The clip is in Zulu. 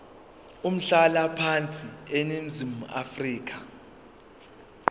umhlalaphansi eningizimu afrika